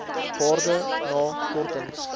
waarde na kortings